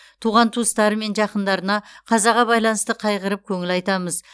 туған туыстары мен жақындарына қазаға байланысты қайғырып көңіл айтамыз